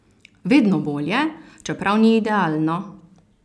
Vedno bolje, čeprav ni idealno.